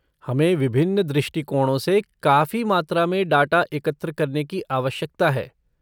हमें विभिन्न दृष्टिकोणों से काफी मात्रा में डाटा एकत्र करने की आवश्यकता है।